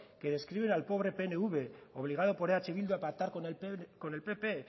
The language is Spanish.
que describen al pobre pnv obligado por eh bildu a pactar con el pp